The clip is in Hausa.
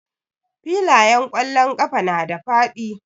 Filayen ƙwallon ƙafa na da faɗi.